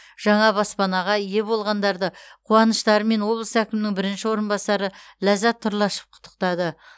жаңа баспанаға ие болғандарды қуаныштарымен облыс әкімінің бірінші орынбасары ляззат тұрлашов құттықтады